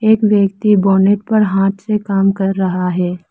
एक व्यक्ति बोनट पर हाथ से काम कर रहा है।